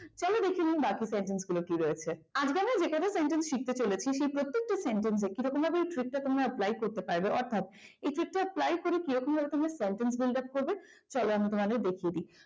এবার দেখেনি বাকি সেনটেন্স গুলো কি রকম রয়েছে আজকে আমরা যে কটা সেন্টেন্স শিখতে চলেছি সেই প্রত্যেকটা সেন্টেন্স কে কিরকম ভাবেই এই trick তা তোমরা apply করতে পারবে কথা এক্ষেত্রে কিভাবে apply করে তোমরা sentence তৈরি করবে চলো তোমাদের দেখিয়ে দিই।